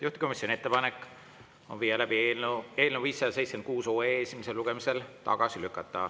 Juhtivkomisjoni ettepanek on eelnõu 576 esimesel lugemisel tagasi lükata.